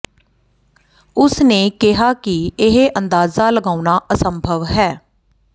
ਉਸ ਨੇ ਕਿਹਾ ਕਿ ਇਹ ਅੰਦਾਜ਼ਾ ਲਗਾਉਣਾ ਅਸੰਭਵ ਹੈ